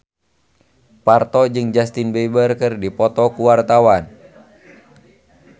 Parto jeung Justin Beiber keur dipoto ku wartawan